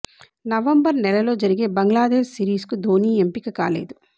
November నెలలో జరిగే Bangladesh series కు ధోనీ ఎంపిక కాలేదు